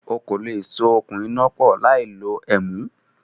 O kò lè so okùn iná pọ̀ láì lo ẹ̀mú